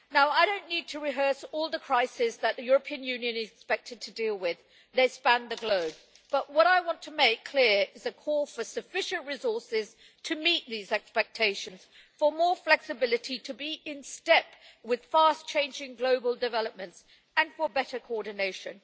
I don't need to rehearse all the crises that the European Union is expected to deal with they span the globe but what I want to make clear is a call for sufficient resources to meet these expectations, for more flexibility in order to be in step with fast changing global developments, and for better coordination.